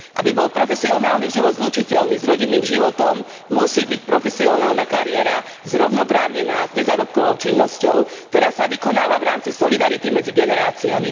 Ak má byť profesionálny život zlučiteľný s rodinným životom, musí byť profesionálna kariéra zrovnoprávnená s nezárobkovou činnosťou, ktorá sa vykonáva v rámci solidarity medzi generáciami.